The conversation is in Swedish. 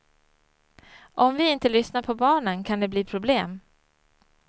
Om vi inte lyssnar på barnen kan det bli problem.